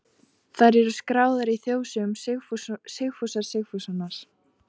Þær eru skráðar í þjóðsögum Sigfúsar Sigfússonar.